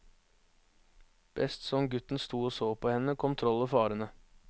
Best som gutten sto og så på henne, kom trollet farende.